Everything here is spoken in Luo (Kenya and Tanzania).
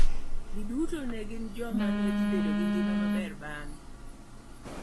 Giduto ne gin joma ne dhi bedo gi ngima maber bang`e.